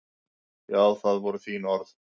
Jú, það voru þín orð.